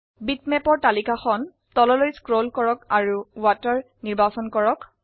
bitmap তালিকাখন তললৈ scroll কৰক আৰু ওকেত নিৰ্বাচন কৰক